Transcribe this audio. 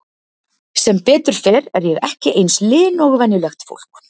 Sem betur fer er ég ekki eins lin og venjulegt fólk.